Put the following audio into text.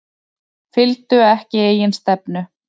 Fylgdu ekki eigin stefnu